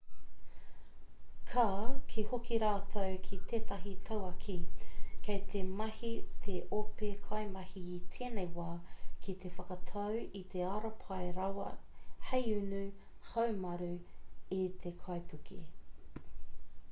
ka kī hoki rātou ki tētahi tauākī kei te mahi te ope kaimahi i tēnei wā ki te whakatau i te ara pai rawa hei unu haumaru i te kaipuke